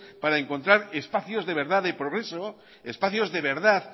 para encontrar espacios de verdad de progreso espacios de verdad